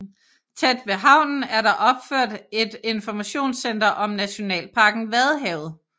Tæt ved havnen er der opført et informationscenter om nationalparken Vadehavet